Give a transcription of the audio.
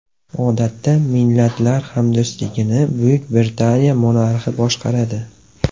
Odatda, Millatlar hamdo‘stligini Buyuk Britaniya monarxi boshqaradi.